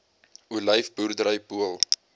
olyf boerdery pool